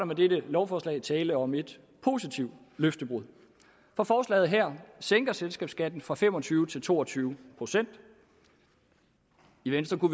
med dette lovforslag tale om et positivt løftebrud for forslaget her sænker selskabsskatten fra fem og tyve procent til to og tyve procent i venstre